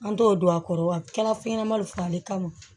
An t'o don a kɔrɔ wa kɛra fɛn ɲɛnama de fana ye kamun